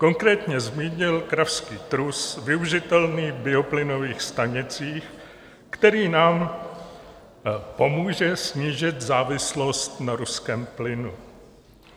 Konkrétně zmínil kravský trus využitelný v bioplynových stanicích, který nám pomůže snížit závislost na ruském plynu.